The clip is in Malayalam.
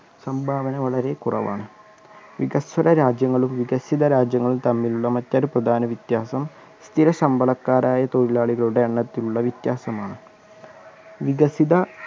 സംഭാവന വളരെ കുറവാണ് വികസ്വര രാജ്യങ്ങളും വികസിത രാജ്യങ്ങളും തമ്മിലുള്ള മറ്റൊരു പ്രധാന വിത്യാസം സ്ഥിര ശമ്പളക്കാരായ തൊഴിലാളികളുടെ എണ്ണത്തിലുള്ള വിത്യാസമാണ് വികസിത